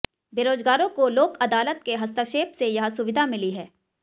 बेरोजगारों को लोक अदालत के हस्तक्षेप से यह सुविधा मिली है